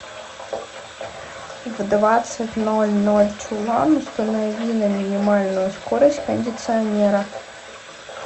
в двадцать ноль ноль чулан установи на минимальную скорость кондиционера